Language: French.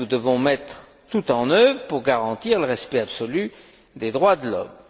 Nous devons mettre tout en œuvre pour garantir le respect absolu des droits de l'homme.